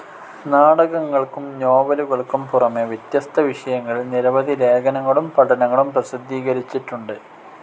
നാടകങ്ങൾക്കും നോവലുകൾക്കും പുറമേ വിത്യസ്ത വിഷയങ്ങളിൽ നിരവധി ലേഖനങ്ങളും പഠനങ്ങളും പ്രസിദ്ധീകരിച്ചിട്ടുണ്ട്.